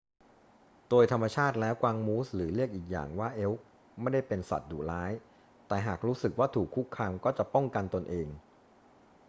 โดยธรรมชาติแล้วกวางมูส หรือเรียกอีกอย่างว่าเอล์ค ไม่ได้เป็นสัตว์ดุร้าย แต่หากรู้สึกว่าถูกคุกคามก็จะป้องกันตนเอง